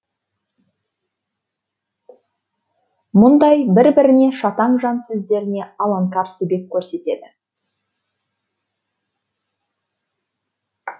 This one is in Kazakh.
мұндай бір біріне шатаң жан сөздеріне аланкар себеп көрсетеді